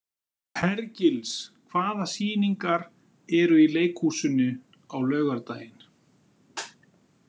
Hergils, hvaða sýningar eru í leikhúsinu á laugardaginn?